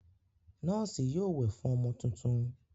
Nọ́ọ́sì yóò wẹ̀ fún ọmọ tuntun.